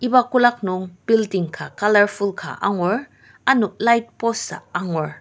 iba kolak nung building ka colourful ka angur ano light post ah angur.